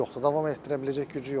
Davam elətdirə biləcək gücü yoxdur.